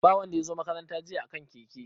Ba wanda ya zo makaranta jiya a kan keke.